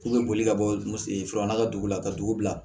K'u bɛ boli ka bɔ furanna ka dugu la ka dugu bila